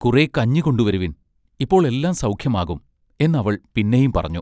കുറെ കഞ്ഞികൊണ്ടുവരുവിൻ ഇപ്പോൾ എല്ലാം സൗഖ്യമാകും എന്ന് അവൾ പിന്നെയും പറഞ്ഞു.